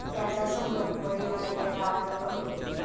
त्याचा संगम वडीवाले या गावाजवळ होतो.